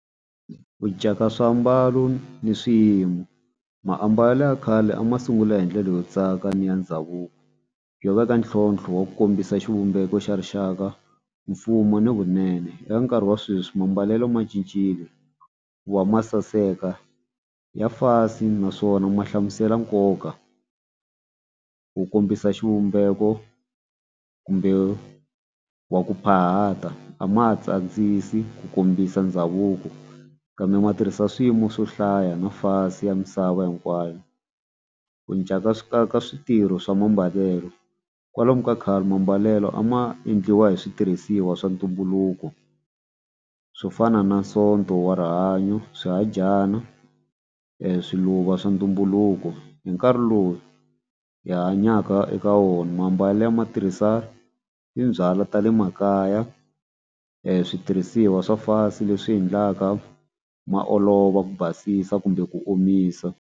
Ku cinca ka swiambalo ni swiyimo maambalelo ya khale a ma sungula hi ndlela yo tsaka ni ya ndhavuko yo veka ntlhontlho wa ku kombisa xivumbeko xa rixaka mfumo ni vunene. Eka nkarhi wa sweswi mambalelo ma cincile ku va ma saseka ya fasi naswona ma hlamusela nkoka ku kombisa xivumbeko kumbe wa ku phahaka a ma ha tsakisi ku kombisa ndhavuko kambe ma tirhisa swiyimo swo hlaya na fasi ya misava hinkwayo ku cinca ka ka ka switirho swa mambalelo kwalomu ka khale mambalelo a ma endliwa hi switirhisiwa swa ntumbuluko swo fana na sonto wa rihanyo swihadyana swiluva swa ntumbuluko hi nkarhi lowu hi hanyaka eka wona mambalele matirhiselo timbyala ta le makaya switirhisiwa swa fasi leswi endlaka ma olova ku basisa kumbe ku omisa.